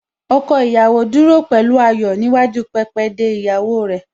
Ọkọ ìyàwó dúró pẹ̀lú ayọ̀ níwájú pẹpẹ de ìyàwó rẹ̀